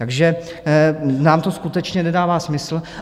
Takže nám to skutečně nedává smysl.